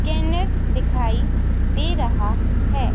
Banner दिखाई दे रहा है.